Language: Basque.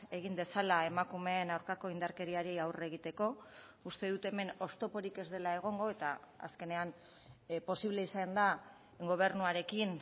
egin dezala emakumeen aurkako indarkeriari aurre egiteko uste dut hemen oztoporik ez dela egongo eta azkenean posible izan da gobernuarekin